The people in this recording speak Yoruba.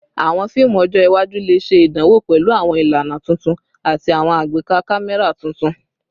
Awọn fiimu ọjọ iwaju le ṣe idanwo pẹlu awọn ilana tuntun ati awọn agbeka kamẹra tuntun